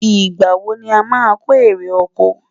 ìgbà wò ní a má kò eré okò?